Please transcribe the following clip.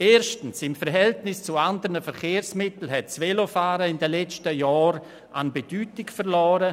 Erstens hat das Velo im Verhältnis zu anderen Verkehrsmitteln in den letzten Jahren an Bedeutung verloren.